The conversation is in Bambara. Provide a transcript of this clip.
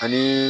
Ani